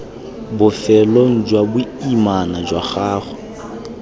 bofelong jwa boimana jwa gago